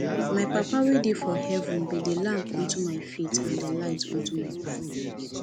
my papa wey dey for heaven be the lamp unto my feet and the light unto my path